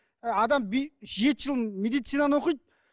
ы адам жеті жыл медицинаны оқиды